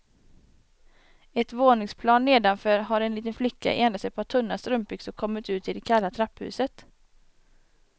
Ett våningsplan nedanför har en liten flicka i endast ett par tunna strumpbyxor kommit ut i det kalla trapphuset.